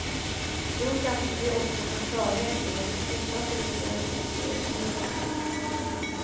Då kanske vi också får klarhet i vad som orsakade uppgörelsen, säger polisen.